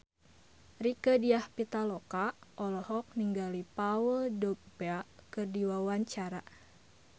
Rieke Diah Pitaloka olohok ningali Paul Dogba keur diwawancara